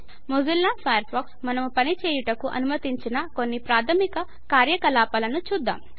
Mozilla Firefox మనము పని చేయుటకు అనుమతించిన కొన్ని ప్రాథమిక కార్యకలాపాలను చూద్దాం